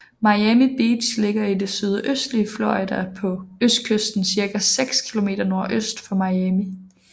Miami Beach ligger i det sydøstlige Florida på østkysten cirka 6 kilometer nordøst for Miami